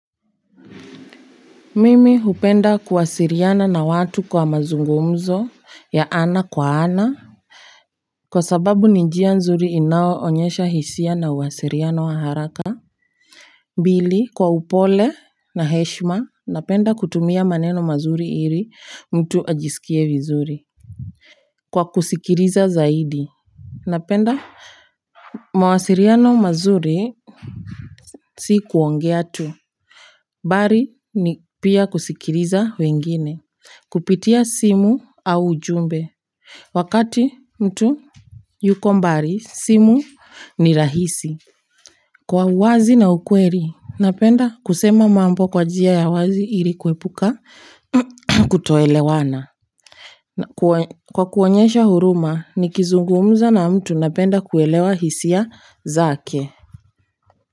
Mimi hupenda kuwasiliana na watu kwa mazungumzo ya ana kwa ana kwa sababu ni njia nzuri inao onyesha hisia na uwasiliana wa haraka pili kwa upole na heshima napenda kutumia maneno mazuri ili mtu ajisikie vizuri kwa kusikiliza zaidi napenda mawasiliano mazuri si kuongea tu bali ni pia kusikiliza wengine kupitia simu au ujumbe wakati mtu yuko mbali simu ni rahisi kwa uwazi na ukweli napenda kusema mambo kwa njia ya wazi ili kuepuka kutoelewana kwa kuonyesha huruma ni kizungumza na mtu napenda kuelewa hisia zake.